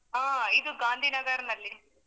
ಹಾ, ಇದು ಗಾಂಧಿನಗರ್ನಲ್ಲಿ.